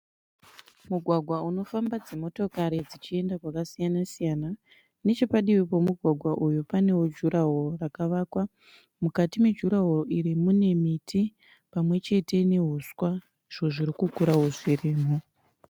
Mugwagwa unofamba dzimotokari dzichenda kwakasiyana siyana. Nechepadivi pemugwagwa uyo pane jurahoro rakavakwa. Mukati mejurahoro iri mune miti pamwechete nehuswa, izvo zvirikukurawo zvirimo.